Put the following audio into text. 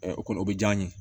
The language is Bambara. o kɔni o bɛ diya n ye